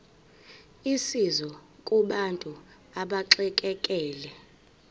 usizo kubantu abaxekekile